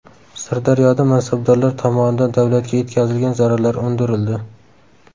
Sirdaryoda mansabdorlar tomonidan davlatga yetkazilgan zararlar undirildi.